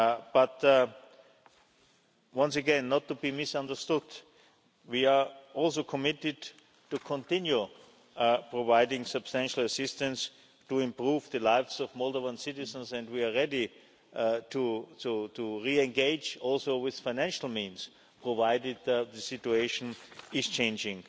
But, once again, not to be misunderstood, we are also committed to continuing to provide substantial assistance to improve the lives of Moldovan citizens and we are ready to re-engage also with financial means, provided that the situation is changing.